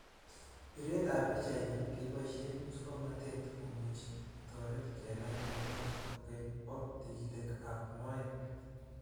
Pireet ap pichainik kepaishee muswoknotet komuchii kotoret kenai mionotok kokeny poo tigitik ap moet.